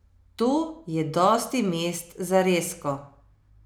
To je dosti mest za rezko!